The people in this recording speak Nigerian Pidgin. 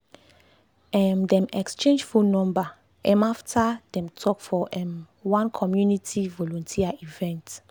um dem exchange phone number um after dem talk for um one community volunteer event.